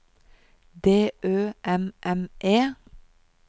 D Ø M M E